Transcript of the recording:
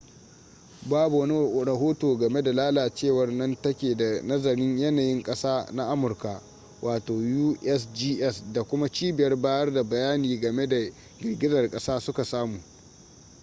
babu wani rahoto game da lalacewa nan take da nazarin yanayin kasa na amurka usgs da kuma cibiyar bayar da bayani game da girgizar kasa suka samu